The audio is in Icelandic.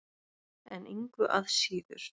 En engu að síður.